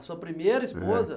A sua primeira esposa? É